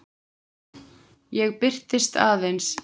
Ég birtist aðeins.